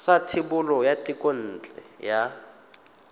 sa thebolo ya thekontle ya